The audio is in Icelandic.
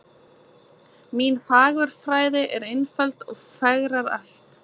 Mín fagurfræði er einföld fegrar allt